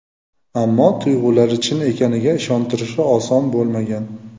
Ammo tuyg‘ulari chin ekaniga ishontirishi oson bo‘lmagan.